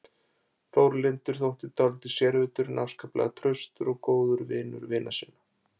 Þórlindur þótti dálítið sérvitur en afskaplega traustur og vinur vina sinna.